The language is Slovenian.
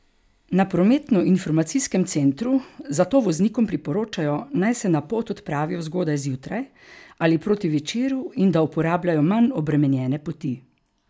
Na prometnoinformacijskem centru zato voznikom priporočajo, naj se na pot odpravijo zgodaj zjutraj ali proti večeru in da uporabljajo manj obremenjene poti.